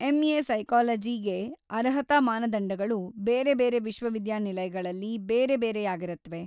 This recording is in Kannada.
ಎಂ.ಎ. ಸೈಕಾಲಜಿಗೆ ಅರ್ಹತಾ ಮಾನದಂಡಗಳು ಬೇರೆ ಬೇರೆ ವಿಶ್ವವಿದ್ಯಾನಿಲಯಗಳಲ್ಲಿ ಬೇರೆ ಬೇರೆಯಾಗಿರತ್ವೆ.